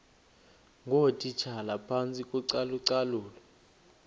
ngootitshala phantsi kocalucalulo